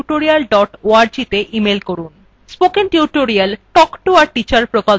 spoken tutorial talk to a teacher প্রকল্পের অংশবিশেষ